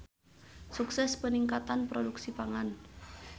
Sukses Peningkatan Produksi Pangan.